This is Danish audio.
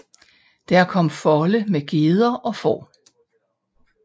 Der kom folde med geder og får